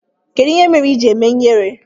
Kedụ ihe mere iji eme ihere?